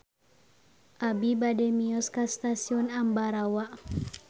Abi bade mios ka Stasiun Ambarawa